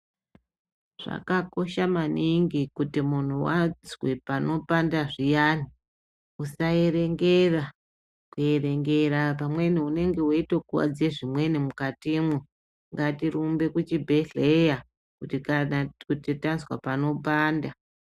Zvakakosha maningi kuti muntu azwe pano panda zviyani usaerengera pamweni unenge uchitokuwadze zvimweni mukatimo ngati rumble kuchibhehleya kuti tazwa pano panda.